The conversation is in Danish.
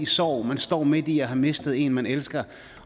sorg man står midt i at have mistet en man elsker